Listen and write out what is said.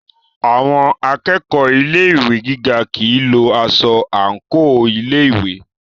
Àwọn akẹ́kọ̀ọ́ Ilé ìwé gíga kìí lo aṣọ àńkò ilé ìwé.